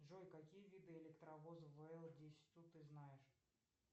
джой какие виды электровоза вл десять у ты знаешь